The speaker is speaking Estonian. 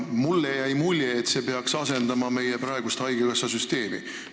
Mulle jäi mulje, et see peaks asendama meie praegust haigekassasüsteemi.